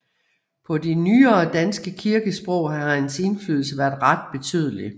På det nyere danske kirkesprog har hans indflydelse været ret betydelig